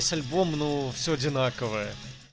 сь альбом ну все одинаковое